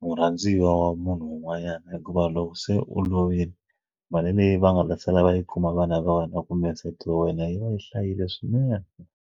murhandziwa wa munhu un'wanyana hikuva loko se u lovile mali leyi va nga ta sala va yi kuma vana va wena kumbe nsati wa wena yi va yi hlayile swinene.